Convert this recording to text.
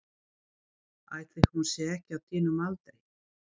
Ætli hún sé ekki á þínum aldri.